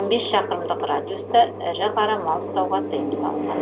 он бес шақырымдық радиуста ірі қара мал ұстауға тыйым салынған